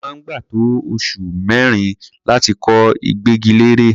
Ó máa ń gbà tó oṣù mẹ́rin láti kọ ìgbẹ́gilére.